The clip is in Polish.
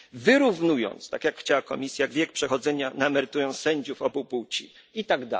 wyrównując, tak jak chciała Komisja, wiek przechodzenia na emeryturę sędziów obu płci itd.